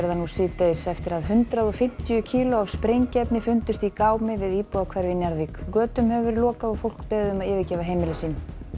nú síðdegis eftir að hundrað og fimmtíu kíló af sprengiefni fundust í gámi við íbúðahverfi í Njarðvík götum hefur verið lokað og fólk beðið um að yfirgefa heimili sín